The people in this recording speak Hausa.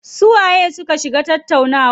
Su waye su ka shiga tattaunawa?